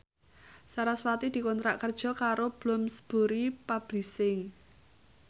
sarasvati dikontrak kerja karo Bloomsbury Publishing